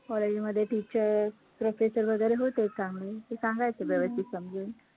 college मध्ये teacher professor वैगरे होतेच चांगले, ते सांगायचे व्यवस्थित समजून